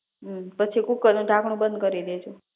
પછી કુકરનું ઢાંકણું બંધ કરી દેજો